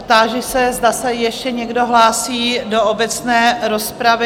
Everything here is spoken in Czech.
Táži se, zda se ještě někdo hlásí do obecné rozpravy?